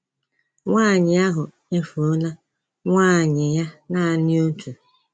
Nwanyị ahụ efuola nwaanyị ya naanị otu.